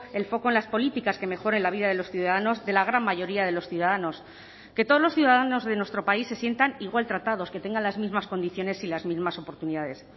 el foco en las políticas que mejoren la vida de los ciudadanos de la gran mayoría de los ciudadanos que todos los ciudadanos de nuestro país se sientan igual tratados que tengan las mismas condiciones y las mismas oportunidades